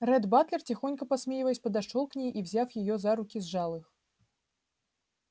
ретт батлер тихонько посмеиваясь подошёл к ней и взяв её за руки сжал их